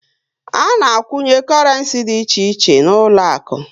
A na a kwunye korenci dị iche iche n'uloaku